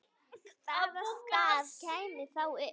Hvaða staða kæmi þá upp?